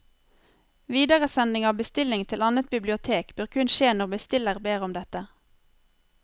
Videresending av bestilling til annet bibliotek bør kun skje når bestiller ber om dette.